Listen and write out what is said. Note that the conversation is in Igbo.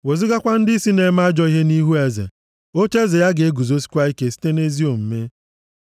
wezugakwa ndịisi nʼeme ajọ ihe nʼihu eze, ocheeze ya ga-eguzosikwa ike site nʼezi omume.